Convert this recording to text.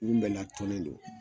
Mun bɛna tɔnnen don